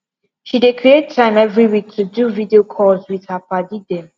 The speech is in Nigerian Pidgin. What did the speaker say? she dey create time every week to do video calls wit her padi dem